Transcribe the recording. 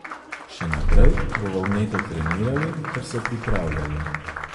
Še naprej bova vneto trenirali ter se pripravljali.